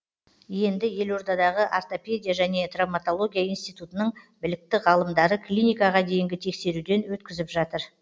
енді елордадағы ортопедия және травматология институтының білікті ғалымдары клиникаға дейінгі тексеруден өткізіп жатыр